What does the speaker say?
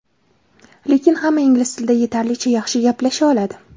Lekin hamma ingliz tilida yetarlicha yaxshi gaplasha oladi.